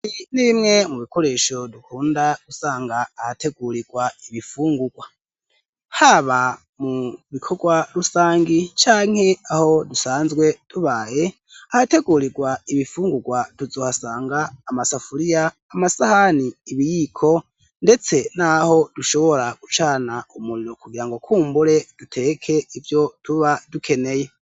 ibi nimwe mu bikoresho dukunda gusanga ahategurirwa ibifungurwa, haba mu bikorwa rusangi canke aho dusanzwe tubaye, ahategurirwa ibifungurwa duzohasanga amasafuriya, amasahani, ibiyiko ndetse naho dushobora gucana umuriro kugira ngo kumbure duteke ivyo tuba dukeneye.